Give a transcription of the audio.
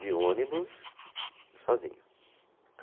De ônibus, sozinho.